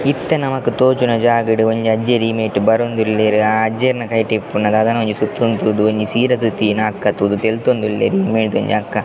ಇತ್ತೆ ನಮಕ್ ತೋಜುನ ಜಾಗಡ್ ಒಂಜಿ ಅಜ್ಜೆರ್ ಈ ಮೈಟ್ ಬರೊಂದುಲ್ಲೆರ್ ಆ ಅಜ್ಜೆರ್ನ ಕೈಟ್ ಇಪ್ಪುನ ದಾದನ ಒಂಜಿ ಸುತ್ತೊಂದು ಒಂಜಿ ಸೀರೆ ಸುತ್ತುದಿನ ಅಕ್ಕ ತೂದ್ ತೆಲ್ತೊಂದುಲ್ಲೆರ್ ಈ ಮೈಟ್ ಅಕ್ಕ --